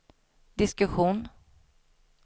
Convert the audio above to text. diskussion